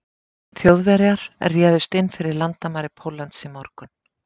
Þjóðverjar réðust inn fyrir landamæri Póllands í morgun.